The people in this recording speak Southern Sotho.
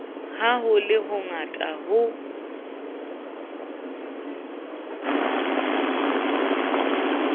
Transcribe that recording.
ha ho le hongata ho